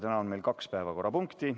Täna on meil kaks päevakorrapunkti.